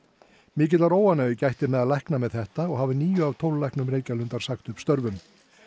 mikillar óánægju gætti meðal lækna með þetta og hafa níu af tólf læknum Reykjalundar sagt upp störfum